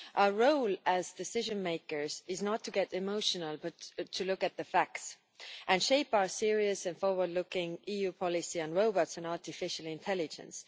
Our role as decision makers is not to get emotional but to look at the facts and shape our serious and forward looking EU policies on robots and artificial intelligence.